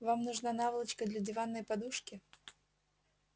вам нужна наволочка для диванной подушки